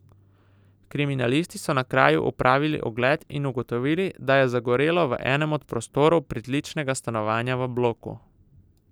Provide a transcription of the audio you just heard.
Kriminalisti so na kraju opravili ogled in ugotovili, da je zagorelo v enem od prostorov pritličnega stanovanja v bloku.